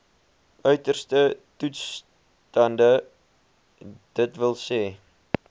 uiterste toestande dws